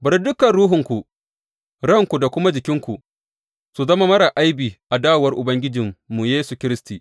Bari dukan ruhunku, ranku, da kuma jikinku su zama marar aibi a dawowar Ubangijinmu Yesu Kiristi.